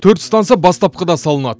төрт станса бастапқыда салынады